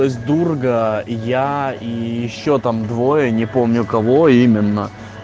то есть дурга я и ещё там двое не помню кого именно